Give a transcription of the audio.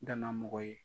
N dana mɔgɔ ye